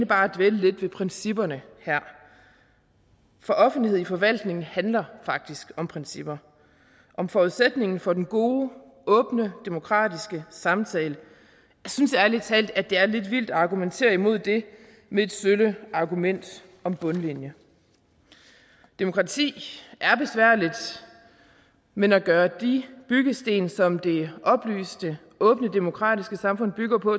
bare dvæle lidt ved principperne for offentlighed i forvaltningen handler faktisk om principper om forudsætningen for den gode åbne demokratiske samtale jeg synes ærlig talt det er lidt vildt at argumentere imod det med et sølle argument om bundlinje demokrati er besværligt men at gøre de byggesten som det oplyste åbne demokratiske samfund bygger på